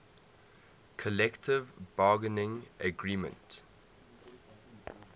collective bargaining agreement